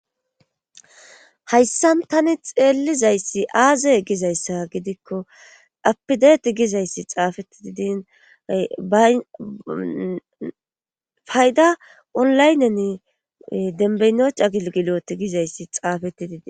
hayssa tani xeellizayssi aazey gizayssa gidikko apideti gizayssi xaafeti didin ba fayda onlaynen denbeynocha gigiloti gizayssi xaafetti didi